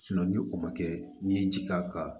ni o ma kɛ n'i ye ji k'a kan